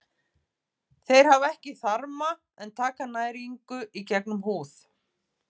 Þeir hafa ekki þarma en taka næringu í gegnum húð.